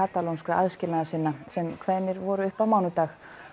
katalónskra aðskilnaðarsinna sem kveðnir voru upp á mánudag